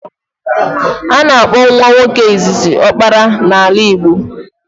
A na-akpọ nwa nwoke izizi ọkpara n'ala Igbo